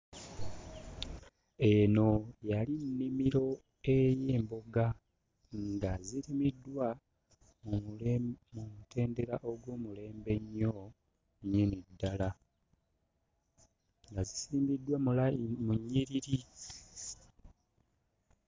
Eno yali nnimiro ey'emboga nga zirimiddwa mu mule mu mutendera ogw'omulembe ennyo nnyini ddala, nga zisimbiddwa mu layini mu nnyiriri.